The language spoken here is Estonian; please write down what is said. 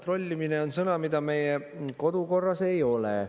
"Trollimine" on sõna, mida meie kodukorras ei ole.